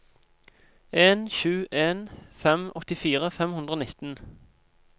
en sju en fem åttifire fem hundre og nitten